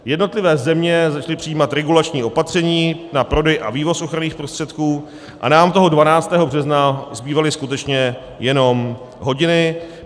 Jednotlivé země začaly přijímat regulační opatření na prodej a vývoz ochranných prostředků a nám toho 12. března zbývaly skutečně jenom hodiny.